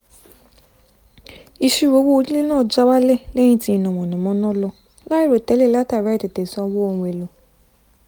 ìṣírò owó onílé náà já wálẹ̀ lẹ́yìn tí iná mànàmáná lọ láìròtẹ́lẹ̀ látàrí àìtètè san owó ohun èlò